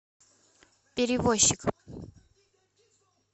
перевозчик